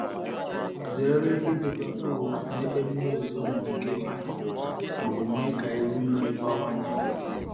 Zere idobe mkpụrụ n’ebe mmiri ozuzo nwere ike ịbanye ma ọ bụ mee ka iru mmiri bawanye.